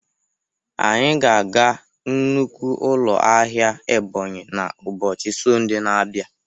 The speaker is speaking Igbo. Anyị ga-aga nnukwu ụlọ ahịa Ebonyi na ụbọchị Sọnde na-abịa